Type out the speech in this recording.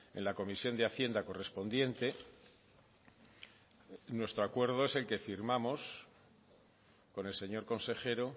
en la comisión de hacienda correspondiente nuestro acuerdo es el que firmamos con el señor consejero